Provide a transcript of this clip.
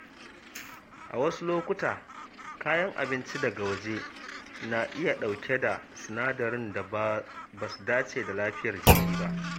A wasu lokuta, kayan abinci daga waje na iya ɗauke da sinadaran da ba su dace da lafiyar jiki ba.